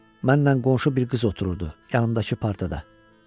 mənlə qonşu bir qız otururdu, yanımdakı partada.